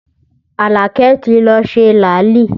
Alake ti lọ ṣe làálì